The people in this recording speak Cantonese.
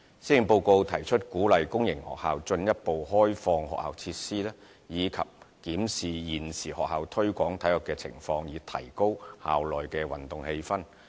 施政報告提出鼓勵公營學校進一步開放學校設施，以及檢視現時學校推廣體育的情況，以提高校內運動氣氛。